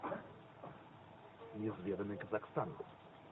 неизведанный казахстан